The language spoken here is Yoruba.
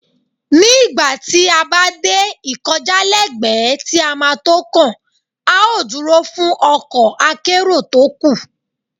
Ní ìgbà tí a bá dé ìkọjálẹ́gbẹ̀ẹ́ tí a ma tó kàn, a ó dúró fún ọkọ̀ akérò tó kù.